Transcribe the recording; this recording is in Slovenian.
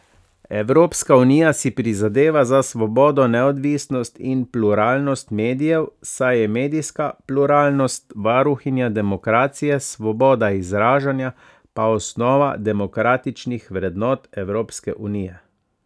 Evropska unija si prizadeva za svobodo, neodvisnost in pluralnost medijev, saj je medijska pluralnost varuhinja demokracije, svoboda izražanja pa osnova demokratičnih vrednot Evropske unije.